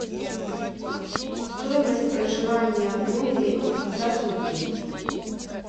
стоимость проживания в номере за сутки